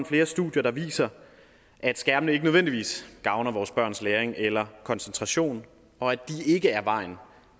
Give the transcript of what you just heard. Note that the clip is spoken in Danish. flere studier der viser at skærmene ikke nødvendigvis gavner vores børns læring eller koncentration og at de ikke er vejen